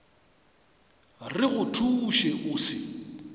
re go thuše o se